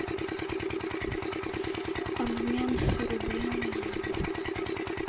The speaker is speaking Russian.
обмен рубли на евро